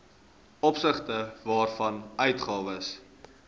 opsigte waarvan uitgawes